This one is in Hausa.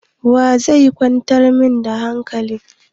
Wa zai kwantar min da hankali?